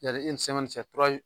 Yani cɛ kuray